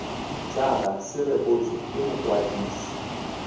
jaaka se rebotswe ke mokwadisi